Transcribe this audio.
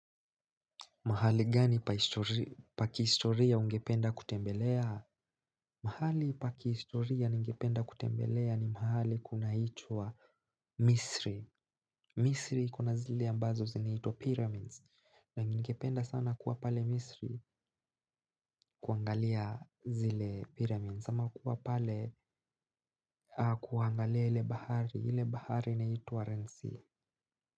Mahali gani pa kihistoria ungependa kutembelea? Mahali pa kihistoria ningependa kutembelea ni mahali kunaitwa Misri. Misri ikona zile ambazo zinatwa pyramids na ningependa sana kuwa pale Misri kuangalia zile pyramids ama kuwa pale kuangalia ile bahari ile bahari inaitwa Renzi.